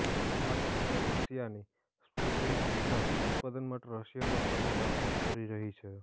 આ કંપની રશિયાની સ્પુટનિક વીના ઉત્પાદન માટે રશિયનો સાથે વાતચીત કરી રહી છે